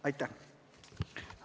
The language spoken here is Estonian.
Aitäh!